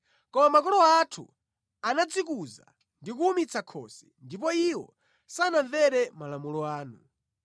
“Koma makolo athu anadzikuza ndi kuwumitsa khosi, ndipo iwo sanamvere malamulo anu.